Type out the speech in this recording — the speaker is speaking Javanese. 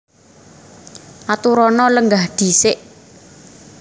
Aturana lenggah dhisik